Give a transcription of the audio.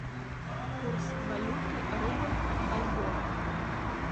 курс валюты рубль бальбоа